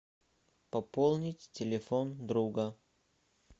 пополнить телефон друга